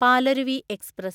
Palaruvi express